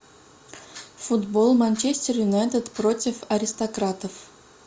футбол манчестер юнайтед против аристократов